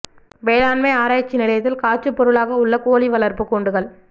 வேளாண்மை ஆராய்ச்சி நிலையத்தில் காட்சிப் பொருளாக உள்ள கோழி வளர்ப்புக் கூண்டுகள்